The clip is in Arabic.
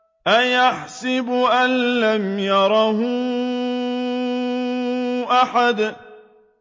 أَيَحْسَبُ أَن لَّمْ يَرَهُ أَحَدٌ